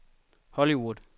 Hollywood